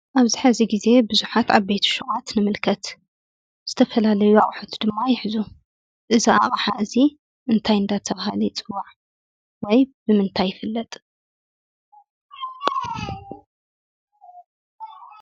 አብዚ ሕዚ ግዘ ብዙሓት ዓበይቲ ሹቓት ንምልከት። ዝተፈላለዩ አቑሑት ድማ ይሕዙ። እዚ አቕሓ እዚ እንታይ እንዳተባሃለ ይፅዋዕ? ወይ ብምንታይ ይፍለጥ?